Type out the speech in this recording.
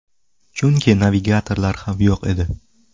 Chunki navigatorlar ham yo‘q edi!